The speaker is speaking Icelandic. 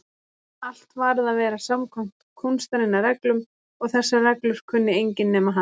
Allt varð að vera samkvæmt kúnstarinnar reglum og þessar reglur kunni enginn nema hann.